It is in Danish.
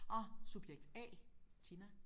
Åh subjekt A Tina